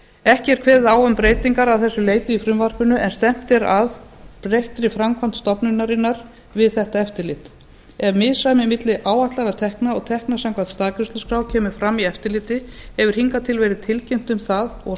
ekki er kveðið á um breytingar að þessu leyti í frumvarpinu en stefnt er að breyttri framkvæmd stofnunarinnar við þetta eftirlit ef misræmi milli áætlaðra tekna og tekna samkvæmt staðgreiðsluskrá kemur fram í eftirliti hefur hingað til verið tilkynnt um það og